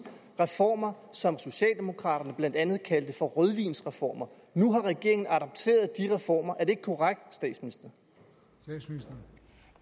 reformer som socialdemokraterne blandt andet kaldte for rødvinsreformer nu har regeringen adopteret de reformer er det ikke korrekt vil